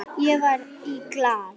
Ég var í Glað.